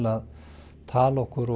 að tala okkur